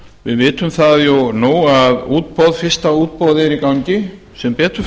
við vitum það jú nú að fyrsta útboð er í gangi sem betur